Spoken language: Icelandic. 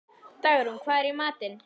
Dagrún, hvað er í matinn?